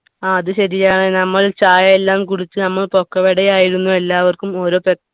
ആ അത് ശരിയാണ് നമ്മൾ ചായ എല്ലാം കുടിച്ച് നമ്മൾ പൊക്കുവട ആയിരുന്നു എല്ലാവർക്കും ഓരോ ക